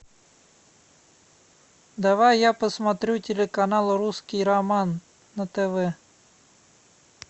давай я посмотрю телеканал русский роман на тв